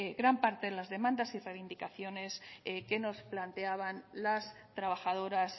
gran parte de las demandas y reivindicaciones que nos planteaban las trabajadoras